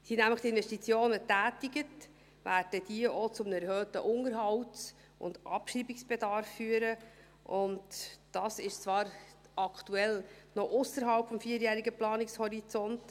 Sind die Investitionen nämlich getätigt, werden diese auch zu einem erhöhten Unterhalts- und Abschreibungsbedarf führen, und das ist zwar aktuell noch ausserhalb des vierjährigen Planungshorizonts.